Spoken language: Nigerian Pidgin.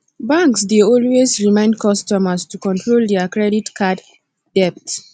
banks dey always remind customers to control dia credit card debt